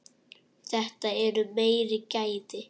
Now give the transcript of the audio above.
Þetta eru meiri gæði.